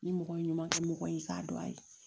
Ni mɔgɔ ɲuman kɛ mɔgɔ ye k'a dɔn a ye